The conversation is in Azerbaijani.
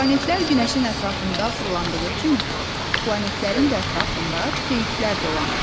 Planetlər günəşin ətrafında fırlandığı kimi, planetlərin də ətrafında peyklər dolanır.